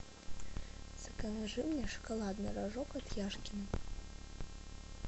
закажи мне шоколадный рожок от яшкино